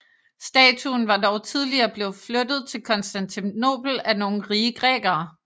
Statuen var dog tidligere blevet flyttet til Konstantinopel af nogle rige grækere